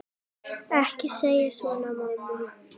Ekki segja svona, mamma.